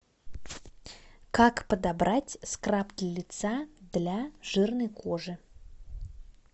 как подобрать скраб для лица для жирной кожи